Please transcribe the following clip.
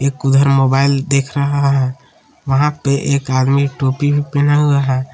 एक उधर मोबाइल देख रहा है वहां पे एक आदमी टोपी पहना हुआ है।